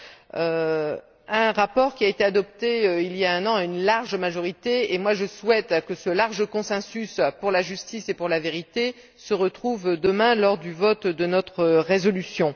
Ce rapport a été adopté, il y a un an, à une large majorité et, personnellement, je souhaite que ce large consensus pour la justice et pour la vérité se retrouve demain lors du vote de notre résolution.